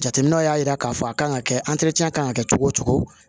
Jateminɛw y'a jira k'a fɔ a kan ka kɛ kan ka kɛ cogo o cogo